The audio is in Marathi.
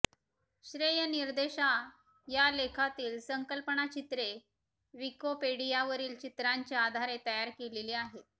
श्रेयनिर्देशः या लेखातील संकल्पनाचित्रे विकिपेडियावरील चित्रांचे आधारे तयार केलेली आहेत